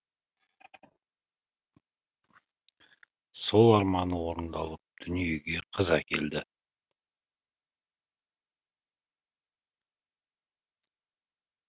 сол арманы орындалып дүниеге қыз әкеледі